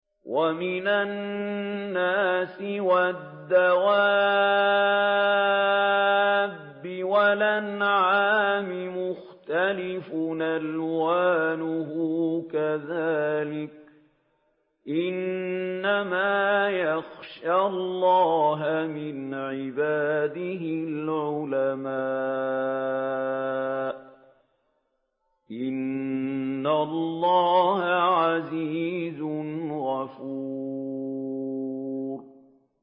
وَمِنَ النَّاسِ وَالدَّوَابِّ وَالْأَنْعَامِ مُخْتَلِفٌ أَلْوَانُهُ كَذَٰلِكَ ۗ إِنَّمَا يَخْشَى اللَّهَ مِنْ عِبَادِهِ الْعُلَمَاءُ ۗ إِنَّ اللَّهَ عَزِيزٌ غَفُورٌ